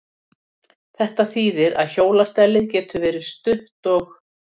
Þetta þýðir að hjólastellið getur verið stutt og